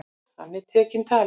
Hann er tekinn tali.